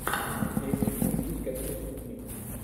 найти мыслить как преступник